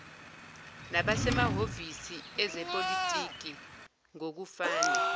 nabasemahhovisi ezepolitiki ngokufana